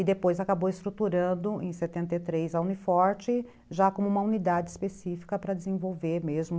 E depois acabou estruturando, em setenta e três, a Uni Forte, já como uma unidade específica para desenvolver mesmo